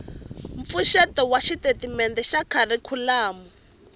mpfuxeto wa xitatimende xa kharikhulamu